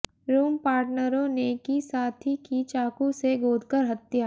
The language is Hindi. रूम पार्टनरों ने की साथी की चाकू से गोदकर हत्या